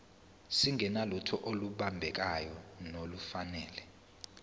singenalutho olubambekayo nolufanele